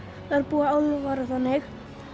þar búa álfar eða þannig